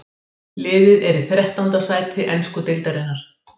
Liðið er í þrettánda sæti ensku deildarinnar.